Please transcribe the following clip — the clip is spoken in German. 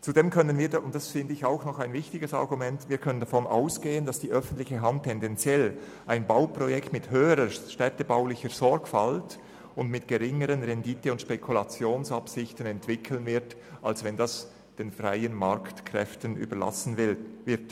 Zudem können wir davon ausgehen – und dies finde ich ein wichtiges Argument –, dass die öffentliche Hand tendenziell ein Bauprojekt mit höherer städtebaulicher Sorgfalt und mit geringerer Rendite- und Spekulationsabsicht entwickeln wird, als wenn dies den Kräften des freien Marktes überlassen wird.